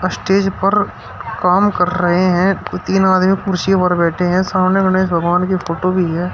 Stage पर काम कर रहे हैं तीन आदमी कुर्सी पर बैठे हैं सामने गणेश भगवान की फोटो भी है।